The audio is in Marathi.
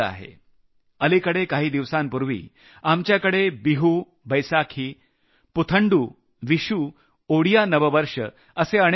अलिकडे काही दिवसांपूर्वी आपल्याकडे बिहू बैसाखी पुथंडू विशू ओडिया नववर्ष असे अनेक सण आले